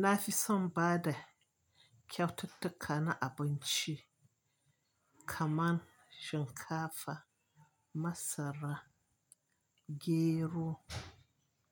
Na fi son ba da kyaututtuka na abinci kamar shinkafa, masara, gero,